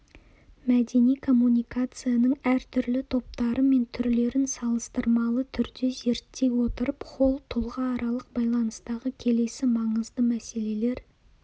мәдени коммуникацияның әртүрлі топтары мен түрлерін салыстырмалы түрде зерттей отырып холл тұлғааралық байланыстағы келесі маңызды мәселелер